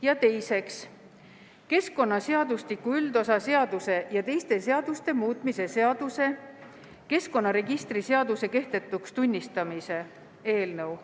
Ja teiseks, keskkonnaseadustiku üldosa seaduse ja teiste seaduste muutmise seaduse eelnõu.